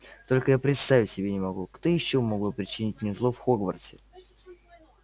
только я представить себе не могу кто ещё мог бы причинить мне зло в хогвартсе